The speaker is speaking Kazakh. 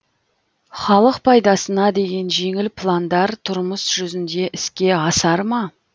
халық пайдасына деген жеңіл пландар тұрмыс жүзінде іске асар ма